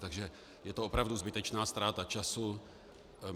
Takže je to opravdu zbytečná ztráta času.